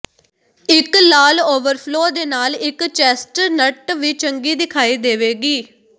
ਇੱਕ ਲਾਲ ਓਵਰਫਲੋ ਦੇ ਨਾਲ ਇੱਕ ਚੈਸਟਨਟ ਵੀ ਚੰਗੀ ਦਿਖਾਈ ਦੇਵੇਗੀ